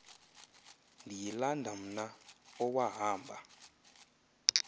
ndiyilanda mna owahamba